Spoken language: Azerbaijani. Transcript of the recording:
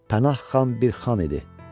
Pənah xan bir xan idi.